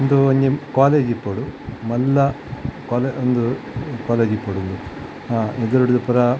ಉಂದು ಒಂಜಿ ಕಾಲೇಜ್ ಇಪ್ಪೊಡು ಮಲ್ಲ ಕಾಲೇ ಉಂದು ಕಾಲೇಜ್ ಇಪ್ಪೊಡು ಉಂದು ಅಹ್ ಎದುರುರ್ದ್ ಪೂರ --